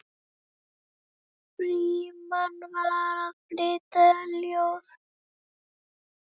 Frímann var að flytja ljóð.